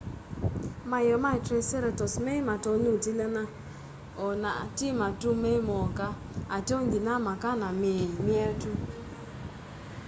maeo ma triceratops mei matonya utilany'a o na ti matu me moka ateo nginya maka na mii myetu